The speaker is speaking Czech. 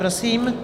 Prosím.